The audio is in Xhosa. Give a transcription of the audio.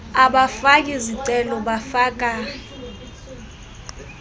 abafaki zicelo bafaka